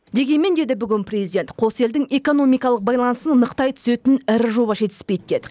дегенмен деді бүгін президент қос елдің экономикалық байланысын нықтай түсетін ірі жоба жетіспейді деді